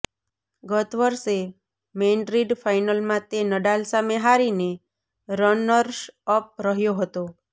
ગત વર્ષે મૈડ્રિડ ફાઇનલમાં તે નડાલ સામે હારીને રનર્સઅપ રહ્યો હતો